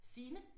Signe